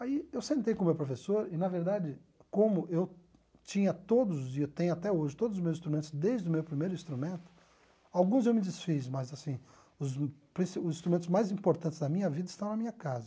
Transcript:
Aí eu sentei com o meu professor e, na verdade, como eu tinha todos, e tenho até hoje, todos os meus instrumentos desde o meu primeiro instrumento, alguns eu me desfiz, mas assim, os princi os instrumentos mais importantes da minha vida estão na minha casa.